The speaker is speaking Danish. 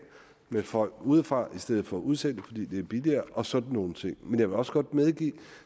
med folk udefra i stedet for udsendte fordi det er billigere og sådan nogle ting men jeg vil også godt medgive at